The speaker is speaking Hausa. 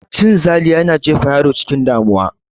Cin zali yana jefa yaro cikin damuwa